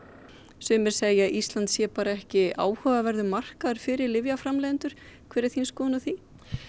sumir segja að Ísland sé ekki áhugaverður markaður fyrir lyfjaframleiðendur hver er þín skoðun á því